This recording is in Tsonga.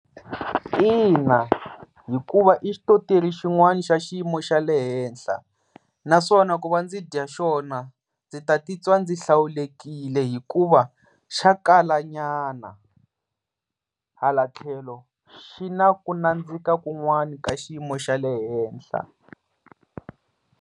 Ina, hikuva i xitoteri xin'wani xa xiyimo xa le henhla naswona ku va ndzi dya xona ndzi ta ti twa ndzi hlawulekile hikuva xa kala nyana, hala tlhelo xi na ku nandzika kun'wani ka xiyimo xa le henhla.